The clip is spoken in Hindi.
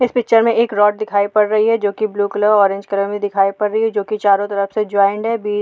इस पिक्चर में एक रौड दिखाई पड़ रही है जो की ब्लू कलर ऑरेंज कलर में दिखाई पड़ रही है जो की चारों तरफ से जॉइन्ड है बी --